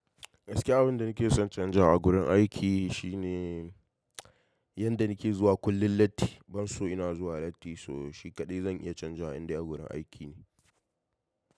Gaskiya abin da nake son in canza a gurin aiki shine yanda nake zuwa kullum latti, ban so ina zuwa latti, so shi kaɗai zan iya canza inda a gurin aiki ne.